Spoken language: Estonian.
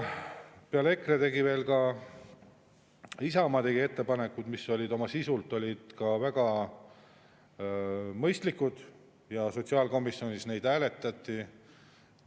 Peale EKRE tegi veel ka Isamaa ettepanekuid, mis olid oma sisult väga mõistlikud, ja sotsiaalkomisjonis neid hääletati.